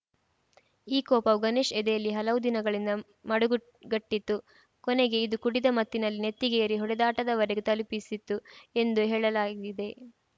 ಈ ಕೋಪವೂ ಗಣೇಶ್‌ ಎದೆಯಲ್ಲಿ ಹಲವು ದಿನಗಳಿಂದ ಮಡುಗು ಗಟ್ಟಿತ್ತು ಕೊನೆಗೆ ಇದು ಕುಡಿದ ಮತ್ತಿನಲ್ಲಿ ನೆತ್ತಿಗೇರಿ ಹೊಡೆದಾಟದವರೆಗೂ ತಲುಪಿಸಿತು ಎಂದು ಹೇಳಲಾಗಿದೆ